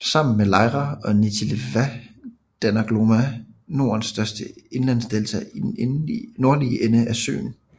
Sammen med Leira og Nitelva danner Glomma Nordens største indlandsdelta i den nordlige enden af søen